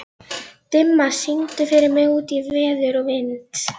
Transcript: Dimma, syngdu fyrir mig „Út í veður og vind“.